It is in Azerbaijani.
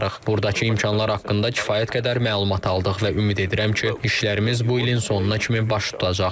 Buradakı imkanlar haqqında kifayət qədər məlumat aldıq və ümid edirəm ki, işlərimiz bu ilin sonuna kimi baş tutacaq.